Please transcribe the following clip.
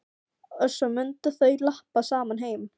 Og svo mundu þau labba saman heim.